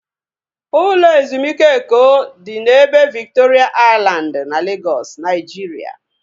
Ụlọ ezumike Eko dị n'ebe Viktoria Aịlandị na Legọs, Naijiria